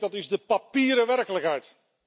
Ik denk dat is de papieren werkelijkheid!